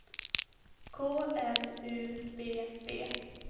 K L U B B